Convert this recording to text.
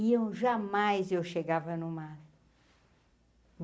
E eu jamais, eu chegava em uma.